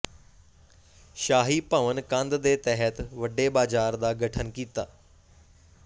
ਸ਼ਾਹੀ ਭਵਨ ਕੰਧ ਦੇ ਤਹਿਤ ਵੱਡੇ ਬਾਜ਼ਾਰ ਦਾ ਗਠਨ ਕੀਤਾ